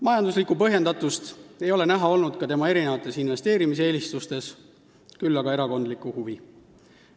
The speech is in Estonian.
Majanduslikku põhjendatust ei ole näha olnud ka tema erinevates investeerimiseelistustes, küll aga on olnud näha erakondlikku huvi.